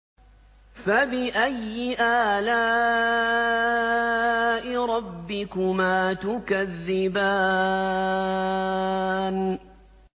فَبِأَيِّ آلَاءِ رَبِّكُمَا تُكَذِّبَانِ